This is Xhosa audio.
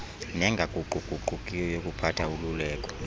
nengaguquguqukiyo yokuphatha ululeko